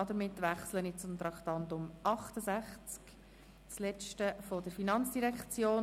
Damit wechsle ich zum Traktandum 68, dem letzten Traktandum der FIN.